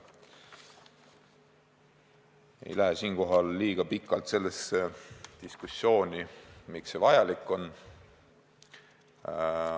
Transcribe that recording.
Ma ei lasku siinkohal liiga pikalt diskussiooni, miks see vajalik on.